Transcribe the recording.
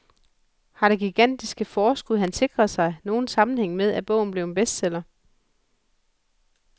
Har det gigantiske forskud, han sikrede dig, nogen sammenhæng med, at bogen blev en bestseller?